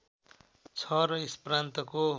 छ र यस प्रान्तको